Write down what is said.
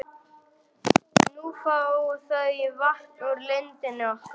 Nú fá þau vatn úr lindinni okkar.